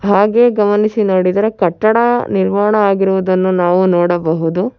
ಹಾಗೆ ಗಮನಿಸಿ ನೋಡಿದರೆ ಕಟ್ಟಡ ನಿರ್ಮಾಣ ಆಗಿರುವುದನ್ನು ನಾವು ನೋಡಬಹುದು.